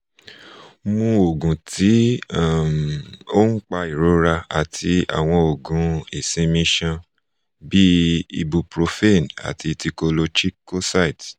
mu oogun ti um oun pa irora ati awọn oogun isinmi iṣan bi ibuprofen ati thiocolchicoside